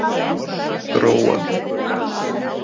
Gróa